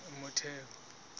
motheo